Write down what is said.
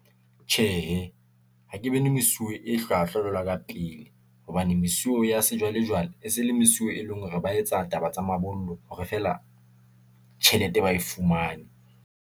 Tjhehe, ha ke bone mesuwe e hlwahlwa jwalo ka pele, hobane mesuwe ya sejwalejwale, e se le mesuwe, e leng hore ba etsa taba tsa mabollo hore feela tjhelete ba e fumane.